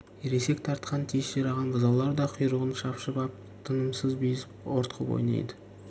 ересек тартқан тез шираған бұзаулар да құйрығын шапшып ап тынымсыз безіп ортқып ойнайды